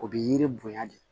O bɛ yiri bonya de